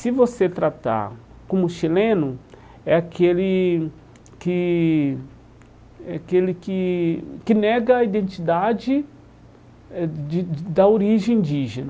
Se você tratar como chileno, é aquele que é aquele que que nega a identidade eh de da origem indígena.